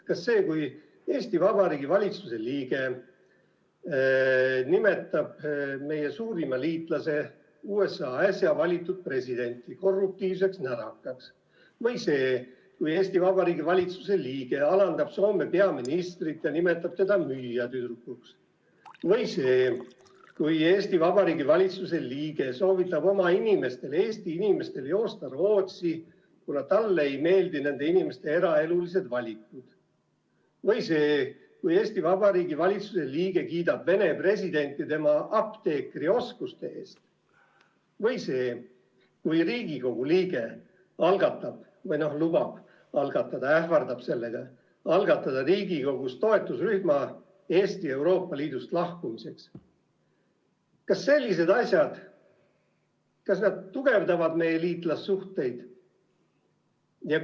Kas see, kui Eesti Vabariigi valitsuse liige nimetab meie suurima liitlase USA äsja valitud presidenti korruptiivseks närakaks, või see, kui Eesti Vabariigi valitsuse liige alandab Soome peaministrit ja nimetab teda müüjatüdrukuks, või see, kui Eesti Vabariigi valitsuse liige soovitab oma inimestel, Eesti inimestel, joosta Rootsi, kuna talle ei meeldi nende inimeste eraelulised valikud, või see, kui Eesti Vabariigi valitsuse liige kiidab Venemaa presidenti tema apteekrioskuste eest, või see, kui Riigikogu liige algatab, lubab algatada või ähvardab algatada Riigikogus toetusrühma Eesti Euroopa Liidust lahkumiseks, kas sellised asjad tugevdavad meie liitlassuhteid?